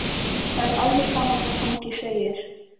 Það er alveg sama hvað fangi segir.